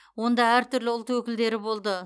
онда әр түрлі ұлт өкілдері болды